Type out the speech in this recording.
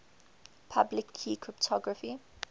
public key cryptography